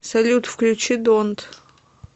салют включи донт